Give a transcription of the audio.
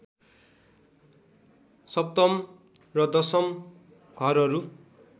सप्तम र दशम घरहरू